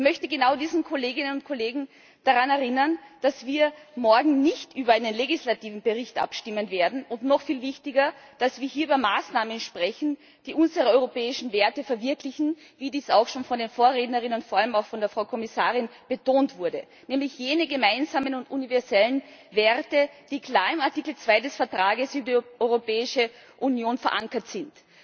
Ich möchte genau diese Kolleginnen und Kollegen daran erinnern, dass wir morgen nicht über einen legislativen Bericht abstimmen werden, und noch viel wichtiger, dass wir hier über Maßnahmen sprechen, die unsere europäischen Werte verwirklichen, wie dies auch schon von den Vorrednerinnen und vor allem auch von der Frau Kommissarin betont wurde nämlich jene gemeinsamen und universellen Werte, die klar in Artikel 2 des Vertrages über die Europäische Union verankert sind.